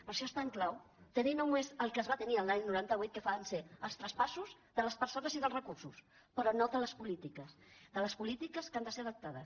per això és tan clau tenir només el que es va tenir l’any noranta vuit que van ser els traspassos de les persones i dels recursos però no de les polítiques de les polítiques que han de ser adaptades